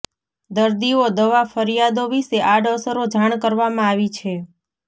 દર્દીઓ દવા ફરિયાદો વિશે આડઅસરો જાણ કરવામાં આવી છે